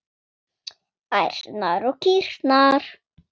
Ærnar og kýrnar.